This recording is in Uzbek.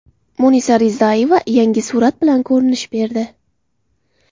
Munisa Rizayeva yangi surat bilan ko‘rinish berdi.